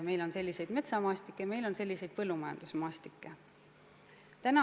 Meil on selliseid metsamaastikke, meil on selliseid põllumajandusmaastikke.